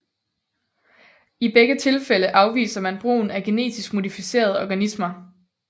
I begge tilfælde afviser man brugen af genetisk modificerede organismer